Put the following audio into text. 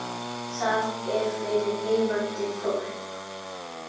Það er fyrir lifandi fólk.